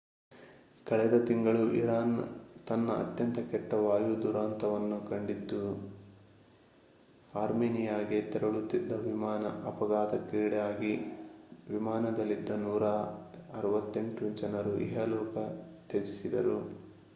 ಕಳೆದ ತಿಂಗಳು ಇರಾನ್ ತನ್ನ ಅತ್ಯಂತ ಕೆಟ್ಟ ವಾಯು ದುರಂತವನ್ನು ಕಂಡಿದ್ದು ಅರ್ಮೇನಿಯಾಗೆ ತೆರಳುತ್ತಿದ್ದ ವಿಮಾನ ಅಪಘಾತಕ್ಕೀಡಾಗಿ ವಿಮಾನದಲ್ಲಿದ್ದ 168 ಜನರು ಇಹಲೋಕ ತ್ಯಜಿಸಿದರು